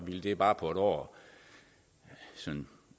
ville det bare på et år